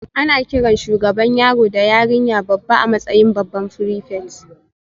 Ana kiran shugaban yaro da yarinya babba a matsayin babban prefect